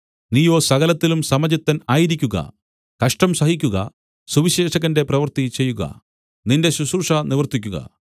നീയോ സകലത്തിലും സമചിത്തൻ ആയിരിക്കുക കഷ്ടം സഹിക്കുക സുവിശേഷകന്റെ പ്രവൃത്തി ചെയ്യുക നിന്റെ ശുശ്രൂഷ നിവർത്തിക്കുക